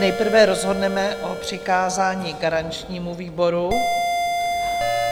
Nejprve rozhodneme o přikázání garančnímu výboru.